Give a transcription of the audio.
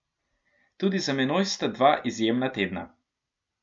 Tudi za menoj sta dva izjemna tedna.